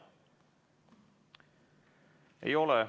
Ei ole.